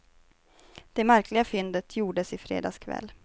Det märkliga fyndet gjordes i fredags kväll.